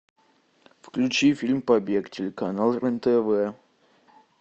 включи фильм побег телеканал рен тв